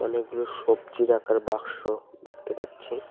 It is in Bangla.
অনেকগুলো সবজি রাখার বাক্স দেখতে পাচ্ছি।